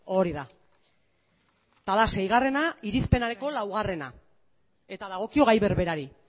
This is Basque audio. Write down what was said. hori da eta da seigarrena irizpenareko laugarrena eta dagokio gai berberari